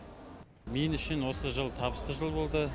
мен үшін осы жыл табысты жыл болды